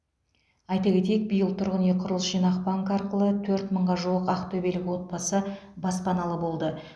айта кетейік биыл тұрғын үй құрылыс жинақ банкі арқылы төрт мыңға жуық ақтөбелік отбасы баспаналы болды